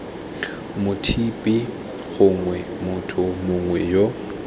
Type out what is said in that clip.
mothapi gongwe motho mongwe yo